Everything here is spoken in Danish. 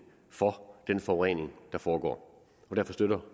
for den forurening der foregår derfor støtter